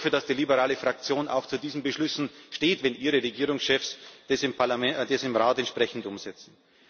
Ich hoffe, dass die liberale Fraktion auch zu diesen Beschlüssen steht, wenn ihre Regierungschefs das im Rat entsprechend umsetzen.